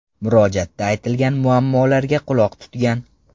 Murojaatda aytilgan muammolarga quloq tutgan.